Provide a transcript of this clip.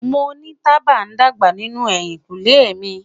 Mo ni taba dagba ninu ehinkunle mi